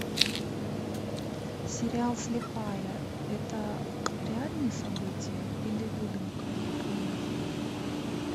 сериал слепая это реальные события или выдумка и миф